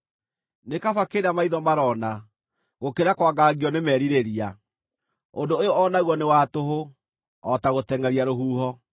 Nĩ kaba kĩrĩa maitho marona, gũkĩra kwangangio nĩ merirĩria. Ũndũ ũyũ o naguo nĩ wa tũhũ, o ta gũtengʼeria rũhuho.